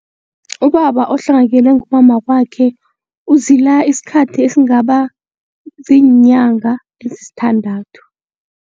Ubaba ohlongakelwe ngumama wakwakhe uzila isikhathi esingaba ziinyanga ezisithandathu.